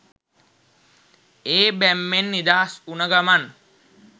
ඒ බැම්මෙන් නිදහස් උන ගමන්